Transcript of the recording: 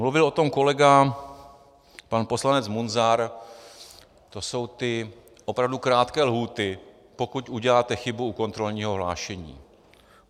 Mluvil o tom kolega pan poslanec Munzar, to jsou ty opravdu krátké lhůty, pokud uděláte chybu u kontrolního hlášení.